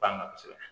Banna kosɛbɛ